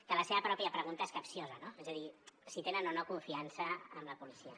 que la seva pròpia pregunta és capciosa no és a dir si tenen o no confiança en la policia